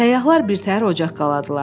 Səyyahlar birtəhər ocaq qaladılar.